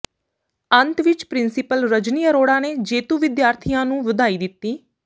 ਅੰਤ ਵਿਚ ਪਿੰ੍ਰਸੀਪਲ ਰਜਨੀ ਅਰੋੜਾ ਨੇ ਜੇਤੂ ਵਿਦਿਆਰਥੀਆਂ ਨੂੰ ਵਧਾਈ ਦਿੱਤੀ